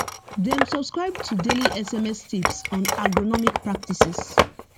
dem subscribe to daily sms tips on agronomic practices